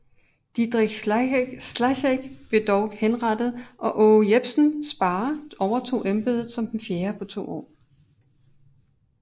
Didrik Slagheck blev dog henrettet og Aage Jepsen Sparre overtog embedet som den fjerde på to år